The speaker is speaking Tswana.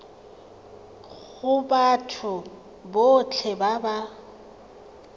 go batho botlhe ba ba